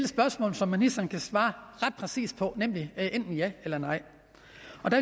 spørgsmål som ministeren kan svare ret præcist på nemlig enten ja eller nej